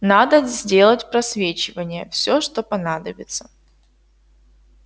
надо сделать просвечивание всё что понадобится